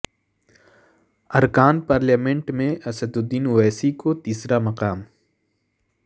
ارکان پارلیمنٹ میں اسد الدین اویسی کو تیسرا مقام